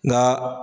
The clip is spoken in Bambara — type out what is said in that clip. Nka